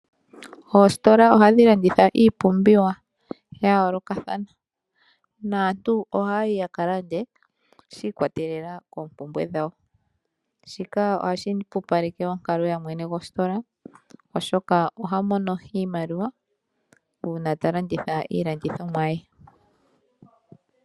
Ositola ohadhi landitha iipumbiwa yaloka thana, naantu ohayi yakalande shikwatele koompumbwe dhawo shika ohashi pupaleke onkalo yamwe gostola oshoka ohamono iimaliwa uuna talanditha iilandithonwa yee.